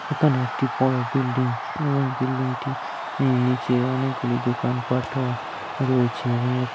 এখানে একটি বড় বিল্ডিং এবং বিল্ডিং -টি অ্যা নিচে অনেকগুলি দোকানপাট ও রয়েছে এবং --